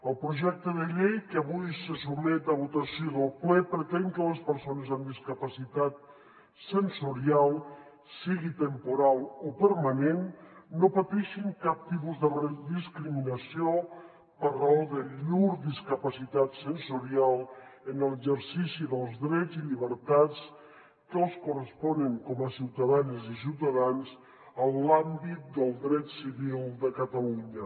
el projecte de llei que avui se sotmet a votació del ple pretén que les persones amb discapacitat sensorial sigui temporal o permanent no pateixin cap tipus de discriminació per raó de llur discapacitat sensorial en l’exercici dels drets i llibertats que els corresponen com a ciutadanes i ciutadans en l’àmbit del dret civil de catalunya